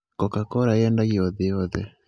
Coca-Cola yendagio thĩ yothe.